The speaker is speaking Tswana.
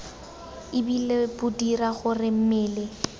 ebile bo dira gore mmele